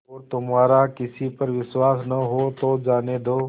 और तुम्हारा किसी पर विश्वास न हो तो जाने दो